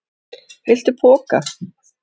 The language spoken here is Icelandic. Viltu poka?